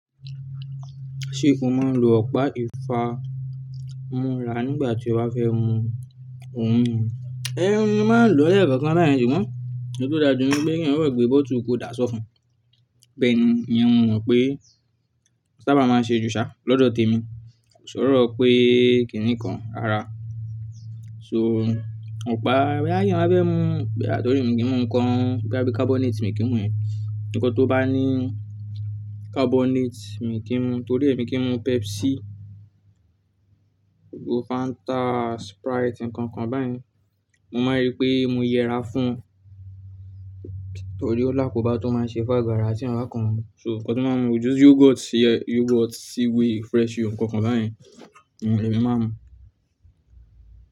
Ṣé o máa ń lo ọ̀pá ìfá múra nígbà tí ó bá fẹ́ mu ohun mímu? Ẹ̀ mo máa ń lọ lẹ́kookan báyen sugbon, èyí tó dàjú ni pé kí ẹ̀eyan kan gbe bottle kó dà á sọ́fun. Bẹ́ẹ̀ni, ìyẹn mo mọ̀ pé sábà máa ń ṣe jù ṣà lọ́dọ̀ tèmi, kò sọ́rọ̀ pé kíni kan rara. So ọ̀pá, bóyá má bá fẹ́ mu boyá torí mi kì í mu ǹkan bóyá bí carbonate mi kì í mu yen. Ǹkan tó bá ní carbonate mi kì í mu, torí èmi kì í mu Pepsi, gbogbo Fanta, Sprite, ǹkan kan báyìí. Mo máa ń rí pé mo yẹra fún, torí ó lákò bá tó máa ń ṣe fún àgo àrá tí eyan bá kan mu. So nǹkan tí wọ́n máa ń mu jù yogurt, yogurt, c-way, fresh yo, ǹkan kan báyìí, àwọn èyí ni mo máa ń mu.